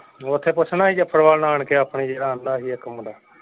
ਓਥੇ ਪੁੱਛਣਾ ਸੀ ਜਫ਼ਰਵਾਲ ਨਾਨਕੇ ਆਪਣੇ ਜਿਹੜਾ ਕਹਿੰਦਾ ਸੀ ਇਕ ਮੁੰਡਾ।